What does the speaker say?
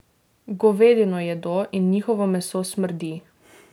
Govedino jedo in njihovo meso smrdi.